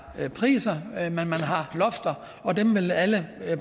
priser at man har lofter og dem vil alle